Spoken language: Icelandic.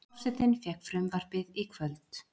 Forsetinn fékk frumvarpið í kvöld